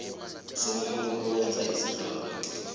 somuntu owenza isibawo